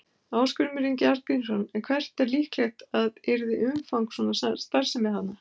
Ásgrímur Ingi Arngrímsson: En hvert er líklegt að yrði umfang svona starfsemi þarna?